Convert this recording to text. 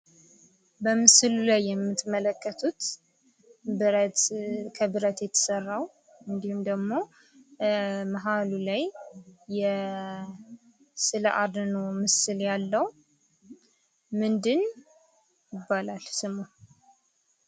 በምስሉ ላይ የምትመለከቱት ብረት ከብረት የተሰራው እንዲሁም ደግሞ ማህሉ ላይ የስዕል አድኖ ምስል ያለው ምንድን ይባላል ስሙ?